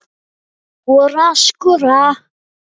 Skora, skora?